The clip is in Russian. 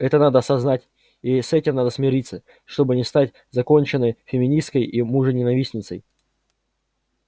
это надо осознать и с этим надо смириться чтобы не стать законченной феминисткой и мужененавистницей